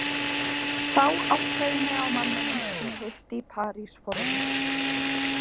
Þá áttaði ég mig á manninum sem ég hitti í París forðum.